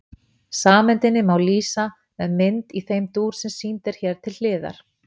Sameindinni má einnig lýsa með mynd í þeim dúr sem sýnd er hér til hliðar.